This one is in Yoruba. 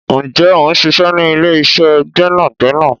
Ǹjẹ́ o ń ṣiṣẹ́ ní ilé-iṣẹ́ gbẹ́nàgbẹ́nà?